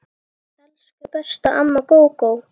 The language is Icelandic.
Elsku besta amma Gógó.